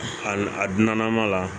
A a dunan ma la